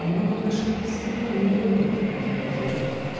ну в отношении свидания не привыкла к такому поведению